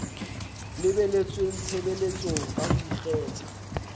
lebeletsweng tshebeletsong ka ho ikgetha